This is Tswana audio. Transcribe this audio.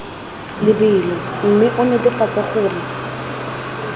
lebelo mme o netefatse gore